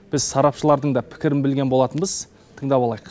біз сарапшылардың да пікірін білген болатынбыз тыңдап алайық